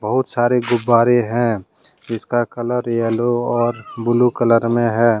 बहुत सारे गुब्बारे हैं इसका कलर येलो और ब्लू कलर में हैं।